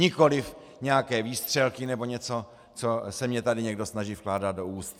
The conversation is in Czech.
Nikoliv nějaké výstřelky nebo něco, co se mně tady někdo snaží vkládat do úst.